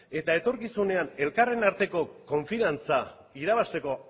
eta etorkizunean elkarren arteko konfiantza irabazteko